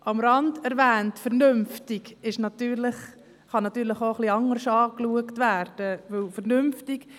Um es noch am Rande zu erwähnen, muss ich sagen, dass der Begriff «vernünftig» auch anders verstanden werden kann.